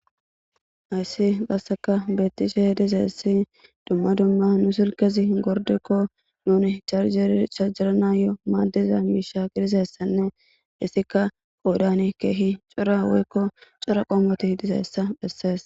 Hayssi qasseka bettishe dizaysi dumma dumma nu silkezi gordikko nuni charjeeri charjeranayo maadiza miisha gidizaysanne dessikko. Qqoodani keehi cora woykko cora qoomoti dizayssa bessees .